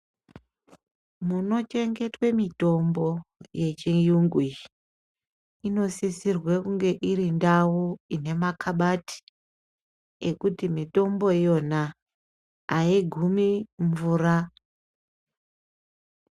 Munochengetwa mitombo yechirungu iyi inosisirwa kuti Iri ndau ine makabati ekuti mitombo iyona aigumi mvura.